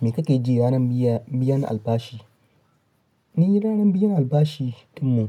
Me kake ji ranar biyan albashi? Ni ranar biyan albashi ɗinmu